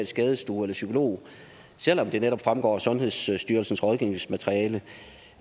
skadestue eller psykolog selv om det netop fremgår af sundhedsstyrelsens rådgivningsmateriale